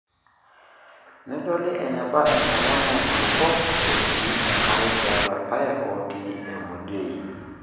nedoli eneba enchalan oonkulupuok etii enkare tiatua irpaek ootii emodiei.